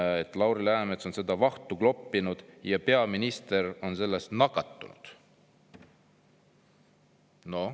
Tsiteerin: "Lauri Läänemets on seda vahtu kloppinud ja peaminister sellest nakatunud.